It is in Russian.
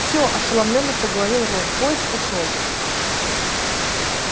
все ошеломлённо проговорил рон поезд ушёл